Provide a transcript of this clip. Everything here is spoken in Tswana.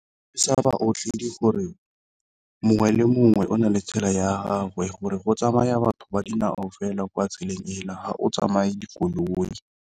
gore mongwe le mongwe o na le tsela ya gagwe gore go tsamaya batho ba dinao fela kwa tseleng ele ha go tsamaye dikoloi.